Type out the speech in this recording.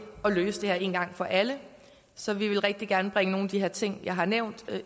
at løse det her én gang for alle så vi vil rigtig gerne bringe nogle af de her ting jeg har nævnt